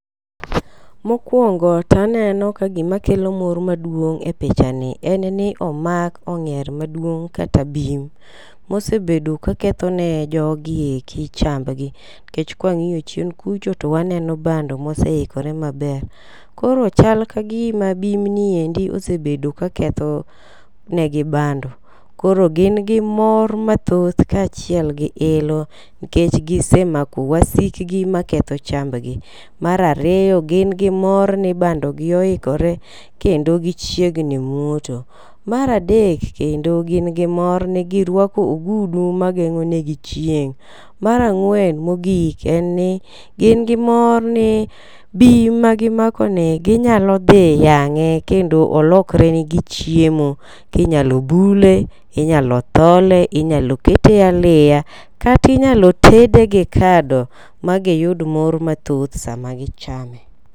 Mokwongo taneno ka gima kelo mor maduong' e picha ni en ni omak ong'er maduong kata bim mosebedo ka ketho ne jogi eki chambgi, kech kwang'iyo chien kucho twaneno bando moseikore maber. Koro chal kagima bim ni endi osebedo ka ketho negi bando. Koro gin gi moro mathoth kaachiel gi ilo nikech gisemako wasik gi maketho chambgi. Mar ariyo gin gi mor ni bando gi oikore kendo gichiegni muoto. Mar adek kendo gin gi mor ni girwako ogudu mageng'o ne gi chieng' .Mar ang'wen mogik en ni gin gin mor ni bim magimako ni ginyalo dhi yang'e kendo olokre ne gi chiemo. Kinyalo bule, inyalo thole, inyalo kete aliya kati nyalo tede gi kado magi yud mor mathoth sama gichame.